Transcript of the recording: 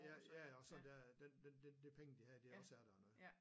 Ja ja og sådan det er at den den de penge de havde de også er der og noget